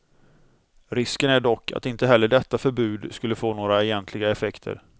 Risken är dock att inte heller detta förbud skulle få några egentliga effekter.